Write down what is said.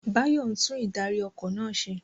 Bayo ń tún ìdarí- ọkọ̀ náà ṣe.